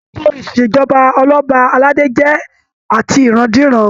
Ètò ìṣèjọba Ọlọba aládé jẹ atirandiran.